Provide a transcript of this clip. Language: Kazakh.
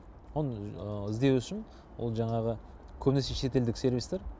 оны іздеу үшін ол жаңағы көбінесе шетелдік сервистар